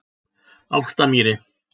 Álftamýri